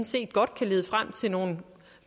set godt kan lede frem til nogle